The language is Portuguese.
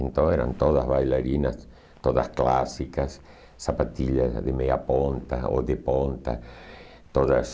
Então, eram todas bailarinas, todas clássicas, sapatilhas de meia ponta ou de ponta, todas...